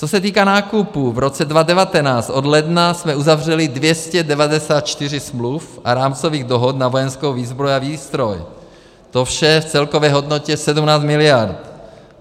Co se týká nákupů, v roce 2019 od ledna jsme uzavřeli 294 smluv a rámcových dohod na vojenskou výzbroj a výstroj, to vše v celkové hodnotě 17 mld.